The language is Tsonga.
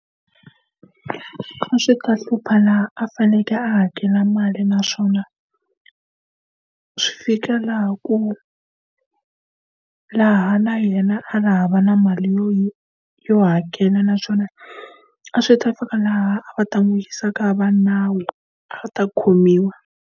A swi ka hlupha laha a fanekele a hakela mali naswona, swi fika laha ku laha na yena a ri hava na mali yo yo hakela. Naswona a swi ta fika laha a va ta n'wi yisa eka va nawu, a va ta khomiwa.